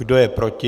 Kdo je proti?